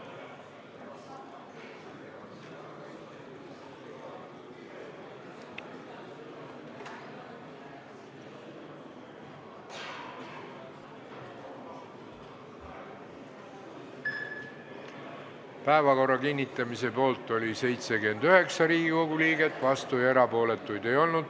Hääletustulemused Päevakorra kinnitamise poolt oli 79 Riigikogu liiget, vastuolijaid ja erapooletuid ei olnud.